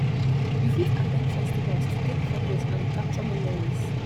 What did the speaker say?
you fit at ten d festivals to take photos and capture memories